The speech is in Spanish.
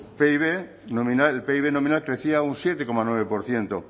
pib nominal el pib nominal crecía un siete coma nueve por ciento